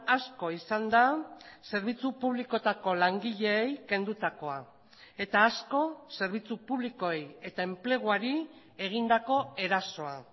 asko izan da zerbitzu publikoetako langileei kendutakoa eta asko zerbitzu publikoei eta enpleguari egindako erasoa